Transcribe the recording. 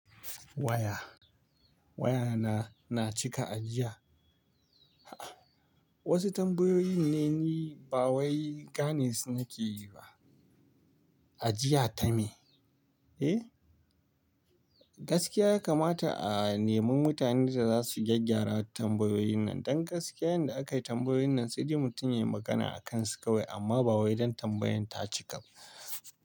Waya, waya na, na cika a jiya. A'a wasu tambayoyin ne ni ba wai gani nake yi ba. Ajiya ta me? Eh, Gaskiya ya kamata a nemi mutane da za su gyaggyara tambayoyin nan. Don gaskiya yanda aka yi tambayoyin nan sai mutum ya yi magana a kan su kawai amma ba wai don tambayan ta cika ba.